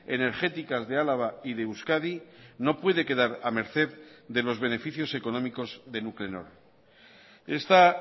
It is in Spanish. energéticas de álava y de euskadi no puede quedar a merced de los beneficios económicos de nuclenor esta